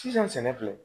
Sisan sɛnɛ filɛ